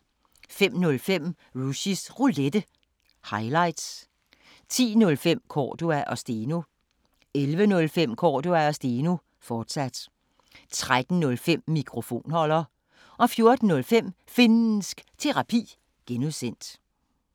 05:05: Rushys Roulette – highlights 10:05: Cordua & Steno 11:05: Cordua & Steno, fortsat 13:05: Mikrofonholder 14:05: Finnsk Terapi (G)